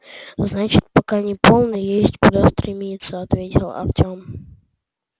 значит пока не полный есть куда стремиться ответил артём